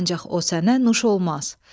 ancaq o sənə nuş olmaz.